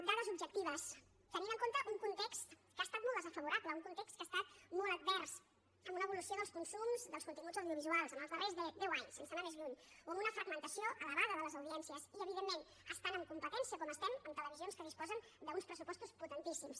dades objectives tenint en compte un context que ha estat molt desfavorable un context que ha estat molt advers amb una evolució dels consums dels continguts audiovisuals en els darrers deu anys sense anar més lluny o amb una fragmentació elevada de les audiències i evidentment estant en competència com estem amb televisions que disposen d’uns pressupostos potentíssims